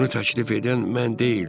Bunu təklif edən mən deyildim.